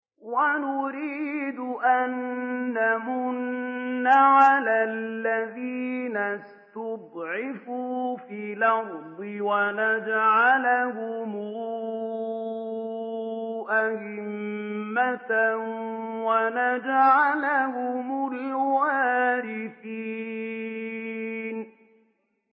وَنُرِيدُ أَن نَّمُنَّ عَلَى الَّذِينَ اسْتُضْعِفُوا فِي الْأَرْضِ وَنَجْعَلَهُمْ أَئِمَّةً وَنَجْعَلَهُمُ الْوَارِثِينَ